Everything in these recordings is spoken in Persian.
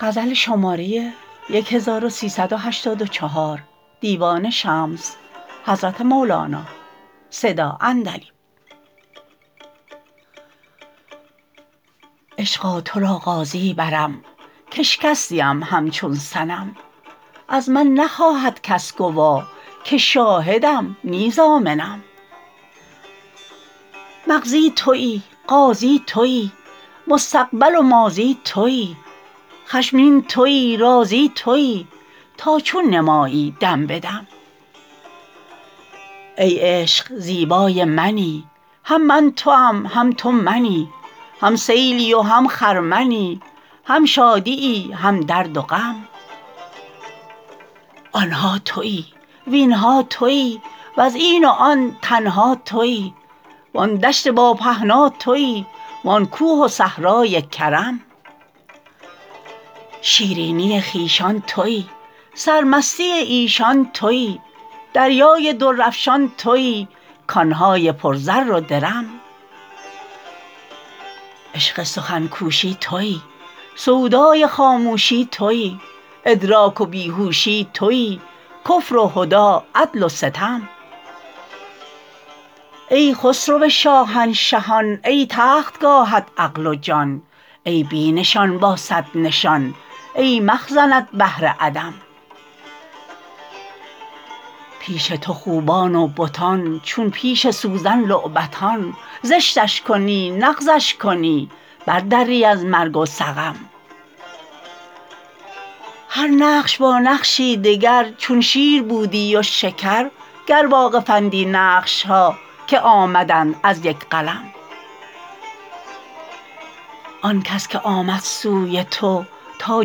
عشقا تو را قاضی برم کاشکستیم همچون صنم از من نخواهد کس گوا که شاهدم نی ضامنم مقضی توی قاضی توی مستقبل و ماضی توی خشمین توی راضی توی تا چون نمایی دم به دم ای عشق زیبای منی هم من توام هم تو منی هم سیلی و هم خرمنی هم شادیی هم درد و غم آن ها توی وین ها توی وز این و آن تنها توی وآن دشت با پهنا توی وآن کوه و صحرای کرم شیرینی خویشان توی سرمستی ایشان توی دریای درافشان توی کان های پر زر و درم عشق سخن کوشی توی سودای خاموشی توی ادراک و بی هوشی توی کفر و هدی عدل و ستم ای خسرو شاهنشهان ای تختگاهت عقل و جان ای بی نشان با صد نشان ای مخزنت بحر عدم پیش تو خوبان و بتان چون پیش سوزن لعبتان زشتش کنی نغزش کنی بردری از مرگ و سقم هر نقش با نقشی دگر چون شیر بودی و شکر گر واقفندی نقش ها که آمدند از یک قلم آن کس که آمد سوی تو تا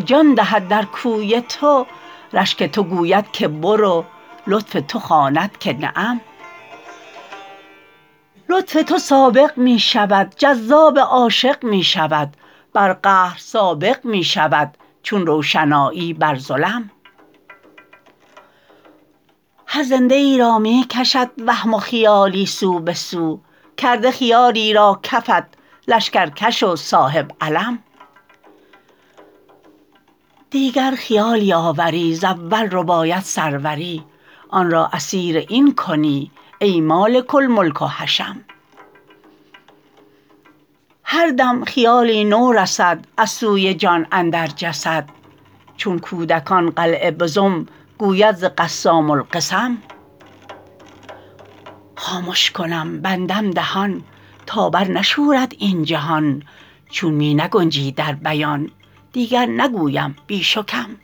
جان دهد در کوی تو رشک تو گوید که برو لطف تو خواند که نعم لطف تو سابق می شود جذاب عاشق می شود بر قهر سابق می شود چون روشنایی بر ظلم هر زنده ای را می کشد وهم و خیالی سو به سو کرده خیالی را کفت لشکرکش و صاحب علم دیگر خیالی آوری ز اول رباید سروری آن را اسیر این کنی ای مالک الملک و حشم هر دم خیالی نو رسد از سوی جان اندر جسد چون کودکان قلعه بزم گوید ز قسام القسم خامش کنم بندم دهان تا برنشورد این جهان چون می نگنجی در بیان دیگر نگویم بیش و کم